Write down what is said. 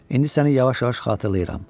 İndi səni yavaş-yavaş xatırlayıram.